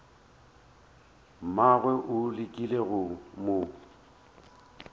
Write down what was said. mmagwe o lekile go mo